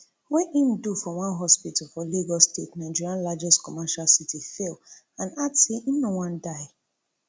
wey im do for one hospital for lagos state nigeria largest commercial city fail and add say im no wan die